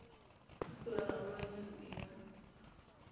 ho tseba haholwanyane e ya